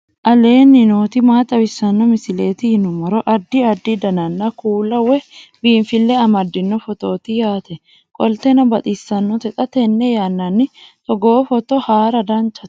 aleenni nooti maa xawisanno misileeti yinummoro addi addi dananna kuula woy biinsille amaddino footooti yaate qoltenno baxissannote xa tenne yannanni togoo footo haara danvchate